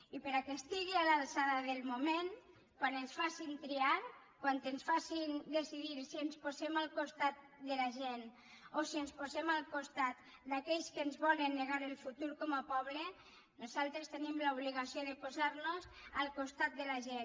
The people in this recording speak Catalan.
i perquè estigui a l’alçada del moment quan ens facin triar quan ens facin decidir si ens posem al costat de la gent o si ens posem al costat d’aquells que ens volen negar el futur com a poble nosaltres tenim l’obligació de posar nos al costat de la gent